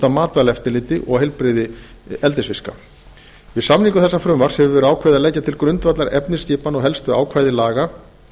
matvælaeftirliti og heilbrigði eldisfiska við samningu þessa frumvarps hefur verið ákveðið að leggja til grundvallar efnisskipan og helstu ákvæði laga